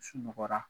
Sunɔgɔra